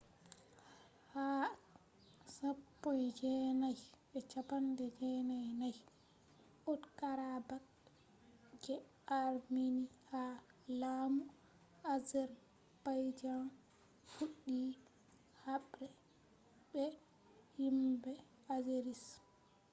ha 1994 nagorno-karabakh je armenia ha laamu azerbaijan fuɗɗi haɓre be himɓe azeris